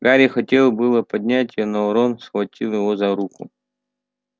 гарри хотел было поднять её но рон схватил его за руку